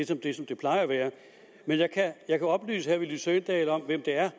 som det plejer at være men jeg kan oplyse herre villy søvndal om hvem det er